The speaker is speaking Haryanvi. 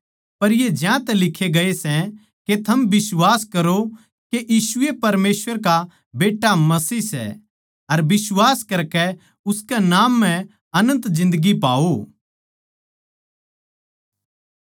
पर ये ज्यांतै लिक्खे गए सै के थम बिश्वास करो के यीशु ए परमेसवर का बेट्टा मसीह सै अर बिश्वास करकै उसकै नाम म्ह अनन्त जिन्दगी पाओ